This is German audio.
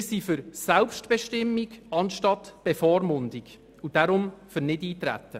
Wir sind für Selbstbestimmung statt Bevormundung und deshalb für Nichteintreten.